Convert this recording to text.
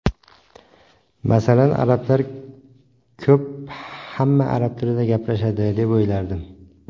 Masalan, arablar ko‘p, hamma arab tilida gaplashadi, deb o‘ylardim.